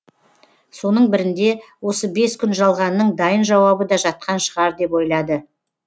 соның бірінде осы бес күн жалғанның дайын жауабы да жатқан шығар деп ойлады